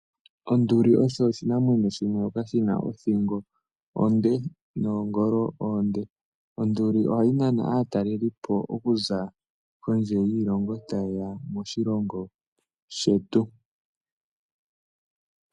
Onduli osho oshinamwenyo shimwe shina othingo onde noongolo oonde. Onduli ohayi nana aatalelipo okuza kondje yiilongo taye ya moshilongo shetu.